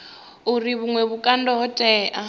uri vhuṅwe vhukando ho tea